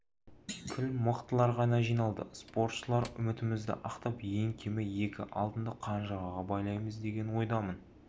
кіл мықтылар ғана жиналды спортшылар үмітімізді ақтап ең кемі екі алтынды қанжығаға байлаймыз деген ойдамын